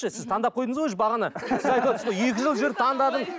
жоқ сіз таңдап қойдыңыз ғой бағана сіз айтып отырсыз ғой екі жыл жүріп таңдадым